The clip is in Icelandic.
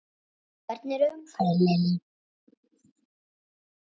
Hvernig er umferðin Lillý?